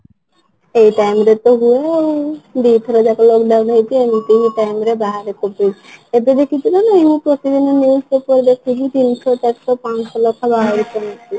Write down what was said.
ଏଇ time ରେ ତ ମୁଁ ଦିଥର ଯାକ lock down ହେଇଚି ଏମିତି ହିଁ time ରେ ବାହାରେ COVID ଏବେ ଦେଖିଚୁ ନା ନାହିଁ ମୁଁ ପ୍ରତିଦିନ news ପେପର ଦେଖିଲି ତିନି ଶହ ଚାରି ଶହ ଲେଖା ବାହାରୁଛନ୍ତି